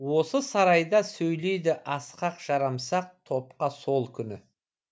осы сарайда сөйледі асқақ жарамсақ топқа сол күні